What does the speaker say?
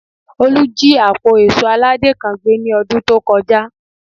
Olú jí àpò èṣó aládé kan gbé ní ọdún tó kọjá